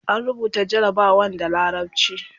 an rubuta jarabawan da larabci